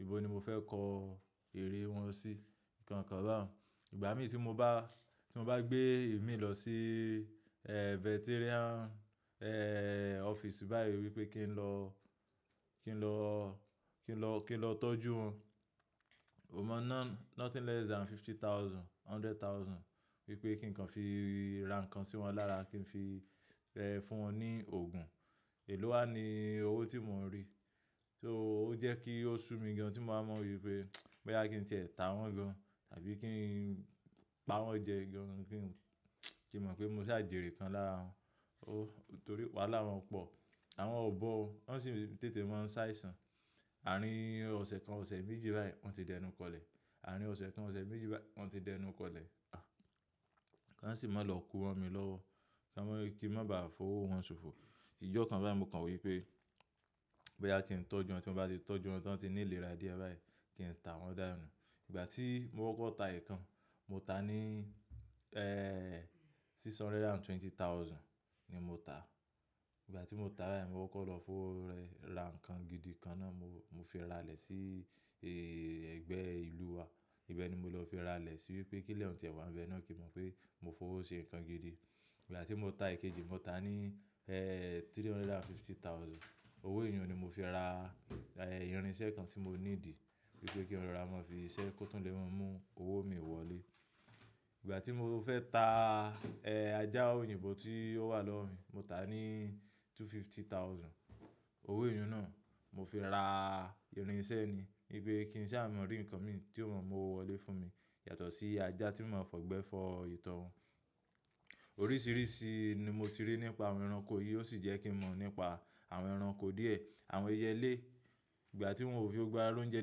Ìbò ni mo fẹ́ kọ eré wọn sí, nǹkan kan bá wọn. Ìgbà mí tí mo bá, tí mo bá gbé ẹ̀mí lọ sí, e, veterinarian, e, office báyìí wípé kí n lọ, kí n lọ, kí n lọ, kí n lọ tọ́jú wọn. mO mọna nothing less than fifty thousand, hundred thousand wípé kí n kan fi ra nǹkan sí wọn lára, kí n fi fún wọn ní òògùn. Ìlú wa ni owó tí mò ń rí. So ó jẹ́ kí ó sú mi gan tí mo máa mọ̀ wípé boyá kí n tẹ tà wọ́n gan tàbí kí n pa wọ́n jẹ gan kí n mọ̀ pé mo sì a jèrè kán lára wọn. O torí wàhálà wọn pọ̀. Àwọn ò bọ́ o, wọ́n sì tètè máa ń sáìsàn. Àárín ọ̀sẹ̀ kan, ọ̀sẹ̀ méjì báyìí wọ́n ti dẹnu kọlẹ̀. Àárín ọ̀sẹ̀ kan, ọ̀sẹ̀ méjì báyìí wọ́n ti dẹnu kọlẹ̀. Wọ́n sì máa lọ kú mọ́ mi lọ́wọ́. Kí ó máa rí kí n máa bá a fowó wọn ṣòfò. Ìjọ́ kan báyìí mo kàn wípé boyá kí n tọ́jú wọn tí mo bá ti tọ́jú wọn tán tí ní ìlera díẹ̀ báyìí kí n tà wọ́n dá nú. Ìgbà tí mo korkor ta ẹ̀ kan, mo ta ní, e, six hundred and twenty thousand ni mo ta. Ìgbà tí mo ta báyìí mo korkor lọ fowó rẹ ra nǹkan gidi kan náà mo, mo fi ra ilè sí, ẹgbẹ́ ìlú wa. Ibẹ̀ ni mo lọ fi ra lè sí wípé kí lé ọ̀nà ti ẹ̀wà ń bẹ náà kí n mọ̀ pé mo fowó ṣe nǹkan gidi. Ìgbà tí mo ta èkejì mo ta ní, e, three hundred and fifty thousand. Owó èèyun ni mo fi ra, e, irinṣẹ́ kan tí mo ní ìdí wípé kí róra máa fi ṣiṣẹ́ kó tó lè mú owó mi wọlé. Ìgbà tí mo fẹ́ ta, e, ajá òyìnbó tí ó wà lọ́rùn mi, mo ta ní two fifty thousand. Owó èèyun náà mo fi ra irinṣẹ́ ni wípé kí iṣẹ́ mọn rí nǹkan mi tí ó máa mú owó wọlé fún mi yàtọ̀ sí ajá tí màá fọ̀ igbẹ́ fọ ìtọ́ wọn. Oríṣiríṣi ni mo ti rí nípa àwọn ẹranko yìí ó sì jẹ́ kí mọ̀ nípa àwọn ẹranko díẹ̀. Àwọn ẹyẹlé ìgbà tí wọn ò fi o gbá ẹrú ń jẹ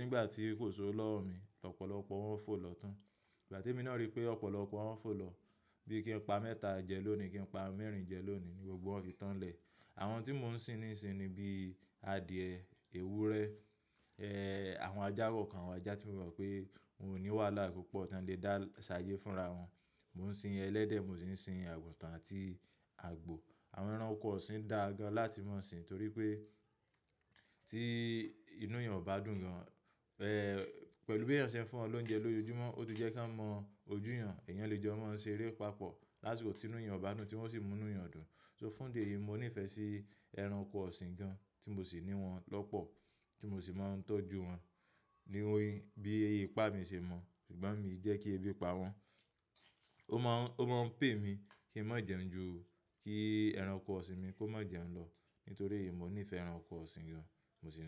nígbà tí kò sí owó lọ́rùn mi, lọ́pọ̀lọpọ̀ wọn ń fò lọ tán. Ìgbà tí èmi náà rí pé ọ̀pọ̀lọpọ̀ wọn ń fò lọ bí i kí n pa mẹ́ta jẹ lónìí, kí n pa mẹ́rin jẹ lónìí ni gbogbo wọn ti tán lẹ̀. Àwọn tí mò ń sin nísinsìnyí bí i adìyẹ, ewúrẹ́, e, àwọn ajá kọ̀ọ̀kan, àwọn ajá tí mo mọ̀ pé wọn ò ní wàhálà púpọ̀ tí wọn lè dá ṣáye fúnra wọn. Mo ń sin ẹlẹ́dẹ̀, mo sì ń sin àgùntàn àti àgbò. Àwọn ẹranko ọ̀sìn da gan láti máa sin torí pé tí inú èèyàn ò bá dùn gan, e, pẹ̀lú bí ẹyan ṣẹ̀ ń fún wọ lóúnjẹ lójoojúmọ́ ó ti jẹ́ kí a mọ ojú èèyàn. Ẹ̀yàn lè jẹ́ ọmọ ń ṣe eré papọ̀ lásìkò tí inú èèyàn ò bá dùn tí wọ́n sì mú inú èèyàn dùn. So fún dé yìí mo níìfẹ̀ sí ẹranko ọ̀sìn gan tí mò sì ní wọn lọ́pọ̀ tí mò sì máa ń tọ́jú wọn ní ohun bí i ipá mi ṣe mọ̀. Ṣùgbọ́n èmi jẹ́ kí èébi pa wọ́n. Ó máa ń, ó máa ń pay mi kí n má jẹun jù, kí ẹranko ọ̀sìn mi kó má jẹun lọ nítorí èmi mo níìfẹ̀ ẹranko ọ̀sìn gan. Mo sì ní wọn.